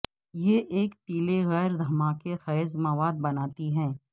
یہ ایک پیلے غیر دھماکہ خیز مواد بناتی ہے